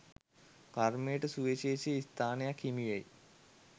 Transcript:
කර්මයට සුවිශේෂි ස්ථානයක් හිමිවෙයි.